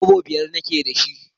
Kwabbo biyar na ke da shi